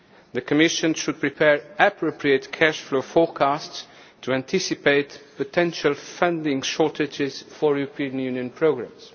The Commission should prepare appropriate cash flow forecasts to anticipate potential funding shortages for European Union programmes.